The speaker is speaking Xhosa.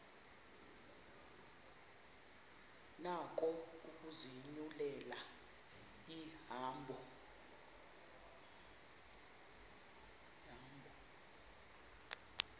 nako ukuzinyulela ihambo